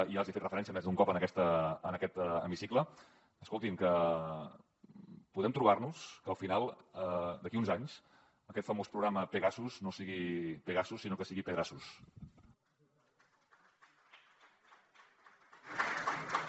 ja els he fet referència més d’un cop en aquest hemicicle escoltin podem trobar nos que al final d’aquí a uns anys aquest famós programa pegasus no sigui pegasus sinó que sigui pedrassus